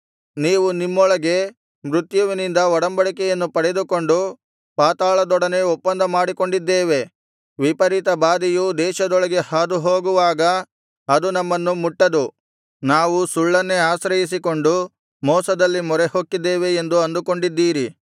ನೀವು ನಿಮ್ಮೊಳಗೆ ಮೃತ್ಯುವಿನಿಂದ ಒಡಂಬಡಿಕೆಯನ್ನು ಪಡೆದುಕೊಂಡು ಪಾತಾಳದೊಡನೆ ಒಪ್ಪಂದ ಮಾಡಿಕೊಂಡಿದ್ದೇವೆ ವಿಪರೀತ ಬಾಧೆಯು ದೇಶದೊಳಗೆ ಹಾದುಹೋಗುವಾಗ ಅದು ನಮ್ಮನ್ನು ಮುಟ್ಟದು ನಾವು ಸುಳ್ಳನ್ನೇ ಆಶ್ರಯಿಸಿಕೊಂಡು ಮೋಸದಲ್ಲಿ ಮೊರೆಹೊಕ್ಕಿದ್ದೇವೆ ಎಂದು ಅಂದುಕೊಂಡಿದ್ದೀರಿ